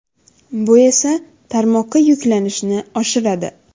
Bu esa tarmoqqa yuklanishni oshiradi.